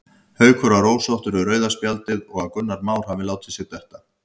Haukur var ósáttur við rauða spjaldið og að Gunnar Már hafi látið sig detta.